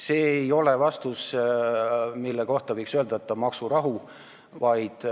See ei ole vastus, mille kohta võiks öelda, et on maksurahu.